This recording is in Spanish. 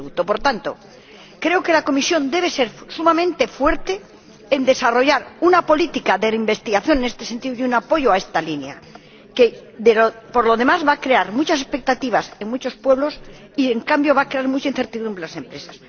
Por tanto, creo que la Comisión debe ser sumamente fuerte a la hora de desarrollar una política de investigación en este sentido y un apoyo a esta línea, que, por lo demás, va a crear muchas expectativas en muchos pueblos y, en cambio, va a crear mucha incertidumbre en las empresas.